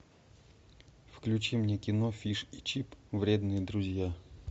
включи мне кино фиш и чип вредные друзья